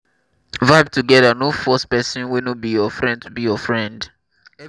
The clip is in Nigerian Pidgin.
vibe together no force person wey no wan be your friend to be your friend